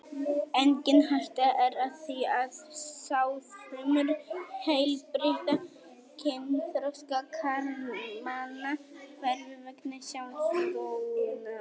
Engin hætta er á því að sáðfrumur heilbrigðra kynþroska karlmanna hverfi vegna sjálfsfróunar.